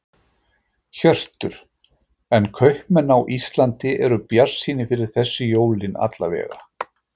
Hjörtur: En kaupmenn á Íslandi eru bjartsýnir fyrir þessi jólin alla vega?